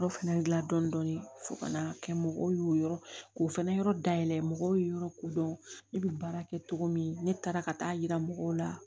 Yɔrɔ fana gilan dɔɔnin dɔɔnin fo ka na kɛ mɔgɔw y'o yɔrɔ k'o fɛnɛ yɔrɔ dayɛlɛ mɔgɔw ye yɔrɔ kodɔn ne bɛ baara kɛ cogo min ne taara ka taa yira mɔgɔw la